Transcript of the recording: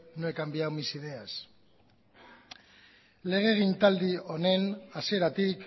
no he cambiado mis ideas legegintzaldi honen hasieratik